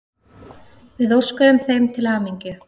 Við óskuðum þeim til hamingju.